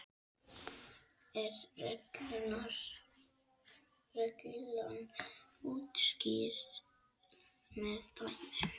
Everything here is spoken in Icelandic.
er reglan útskýrð með dæmi